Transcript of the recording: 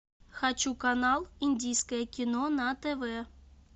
хочу канал индийское кино на тв